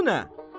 Bu nə?